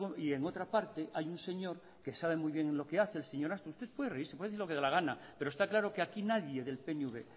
y en otra parte hay un señor que sabe muy bien lo que hace el señor usted puede reírse puede decir lo que le da la gana pero está claro que aquí nadie del pnv